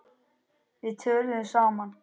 Við töluðum saman.